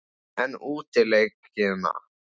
En útileikina?